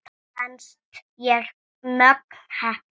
Mér fannst ég mjög heppin.